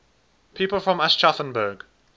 people from aschaffenburg